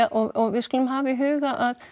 og við skulum hafa í huga